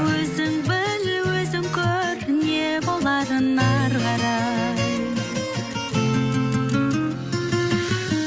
өзің біл өзің көр не боларын ары қарай